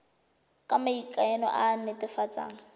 ya maikano e e netefatsang